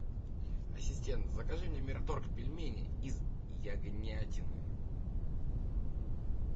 ассистент закажи мне мираторг пельмени из ягнятины